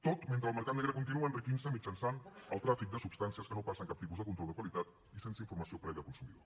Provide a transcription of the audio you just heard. tot mentre el mercat negre continua enriquint se mitjançant el tràfic de substàncies que no passen cap tipus de control de qualitat i sense informació prèvia al consumidor